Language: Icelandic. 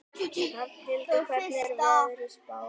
Hrafnhildur, hvernig er veðurspáin?